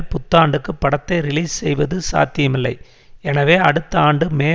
புத்தாண்டுக்கு படத்தை ரிலீஸ் செய்வது சாத்தியமில்லை எனவே அடுத்த ஆண்டு மே